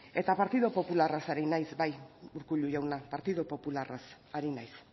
eta partidu popularra ari naiz bai urkullu jauna partidu popularraz ari naiz